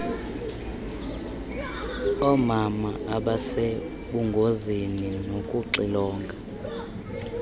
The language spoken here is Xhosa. oomama abasebungozini nokuxilonga